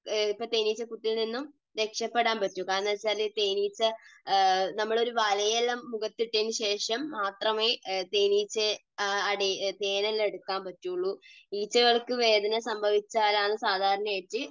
ഇപ്പോൾ തേനീച്ചക്കൂട്ടിൽ നിന്നും രക്ഷപെടാൻ പറ്റൂ. കാരണം എന്താണെന്നുവച്ചാൽ ഈ തേനീച്ച മുഖത്തിട്ടതിനുശേഷം മാത്രമേ തേനീച്ചകൾ, തേനെല്ലാം എടുക്കാൻ പറ്റുകയുള്ളൂ. ഈച്ചകൾക്ക് വേദന സംഭവിച്ചാലാണ് സാധാരണയായിട്ട്